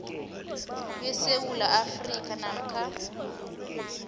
besewula afrika namkha